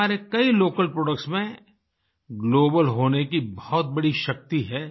हमारे कई local products में ग्लोबल होने की बहुत बड़ी शक्ति है